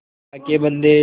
अल्लाह के बन्दे